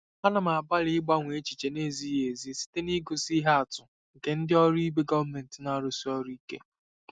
Ana m agbalị ịgbanwe echiche na-ezighị ezi site n'igosi ihe atụ nke ndị ọrụ ibe gọọmentị na-arụsi ọrụ ike.